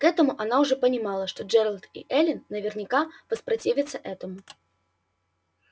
к этому она уже понимала что джералд и эллин наверняка воспротивятся этому